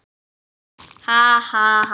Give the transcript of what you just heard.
Ha, ha, ha!